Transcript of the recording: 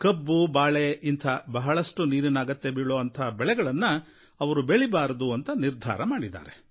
ಕಬ್ಬು ಬಾಳೆ ಇಂಥ ಹೆಚ್ಚು ನೀರಿನ ಅಗತ್ಯ ಬೀಳೋ ಬೆಳೆಯನ್ನು ಅವರು ಬೆಳೀಬಾರದು ಅಂತ ನಿರ್ಧಾರ ಮಾಡಿದ್ದಾರೆ